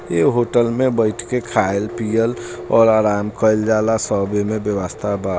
ये होटल में बइठ के खाएल पियल और आराम कइल जाला।